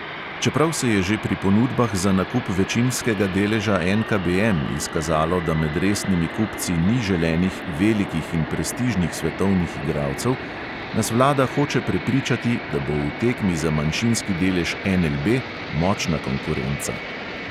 Čeprav se je že pri ponudbah za nakup večinskega deleža NKBM izkazalo, da med resnimi kupci ni želenih velikih in prestižnih svetovnih igralcev, nas vlada hoče prepričati, da bo v tekmi za manjšinski delež NLB močna konkurenca.